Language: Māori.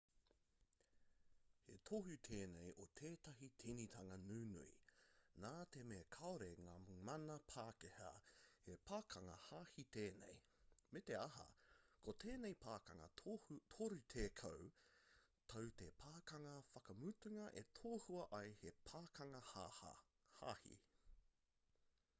he tohu tēnei o tētahi tīnitanga nunui nā te mea kāore ngā mana pākehā he pakanga hāhī tēnei me te aha ko tēnei pakanga torutekau tau te pakanga whakamutunga e tohua ai he pakanga hāhī